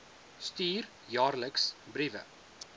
stuur jaarliks briewe